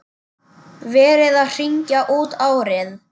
Verið að hringja út árið.